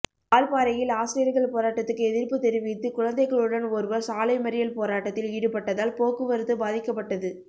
வால்பாறையில் ஆசிரியர்கள் போராட்டத்துக்கு எதிர்ப்புத் தெரிவித்து குழந்தைகளுடன் ஒருவர் சாலை மறியல் போராட்டத்தில் ஈடுபட்டதால் போக்குவரத்து பாதிக்கப்ட்டது